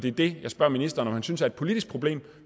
er det jeg spørger ministeren om han synes det er et politisk problem